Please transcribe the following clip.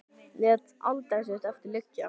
Lét aldrei sitt eftir liggja.